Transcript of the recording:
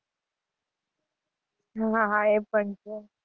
હાં હાં એ પણ છે.